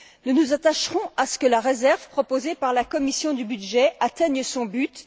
Nous nous attacherons à ce que la réserve proposée par la commission des budgets atteigne son but.